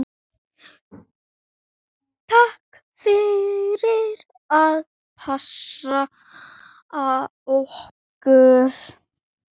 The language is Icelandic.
Takk fyrir að passa okkur.